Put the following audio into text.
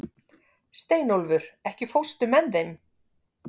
Steinólfur, ekki fórstu með þeim?